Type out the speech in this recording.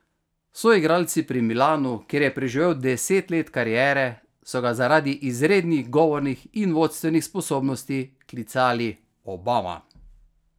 Soigralci pri Milanu, kjer je preživel deset let kariere, so ga zaradi izrednih govornih in vodstvenih sposobnosti klicali Obama.